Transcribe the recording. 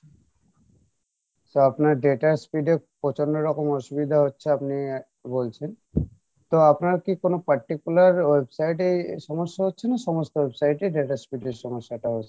so আপনার data speed এ প্রচন্ড রকম অসুবিধা হচ্ছে আপনি বলছেন তো আপনার কী কোনো particular website এ সমস্যা হচ্ছে না সমস্ত website এই data speed এর সমস্যা টা হচ্ছে?